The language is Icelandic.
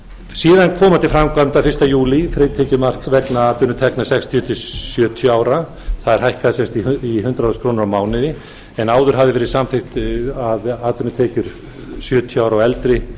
síðan koma til framkvæmda fyrsta júlí frítekjumark vegna atvinnutekna sextíu til sjötíu ára það er hækkað í hundrað þúsund krónur á mánuði en áður hafði verið samþykkt að atvinnutekjur sjötíu ára og eldri